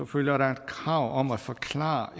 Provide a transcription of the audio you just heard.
følger der et krav om at forklare